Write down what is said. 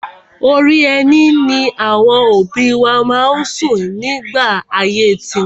Orí ẹní ni àwọn òbí wa má ń sùn nígbà ayé tiwọn.